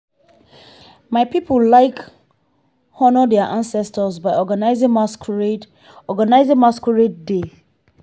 my people like honour their ancestors by organizing masquerade organizing masquerade day.